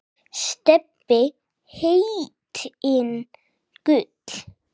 Stebbi heitinn Gull.